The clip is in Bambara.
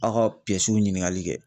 Aw ka piyɛsiw ɲiniŋali kɛ